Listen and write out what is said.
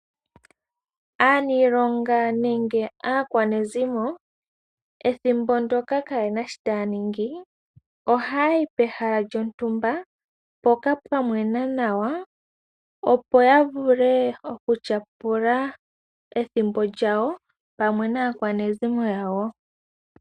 Aaniilonga nenge aakwanezimbo ethimbo ndyoka kaye na shoka taya ningi ohaya yi pehala lyontumba mpoka pwa mwena nawa, opo ya vule okutyapula ethimbo lyawo pamwe naakwanezimo lyawo.